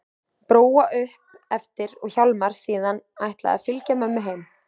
Bróa upp eftir og Hjálmar síðan ætlað að fylgja mömmu heim.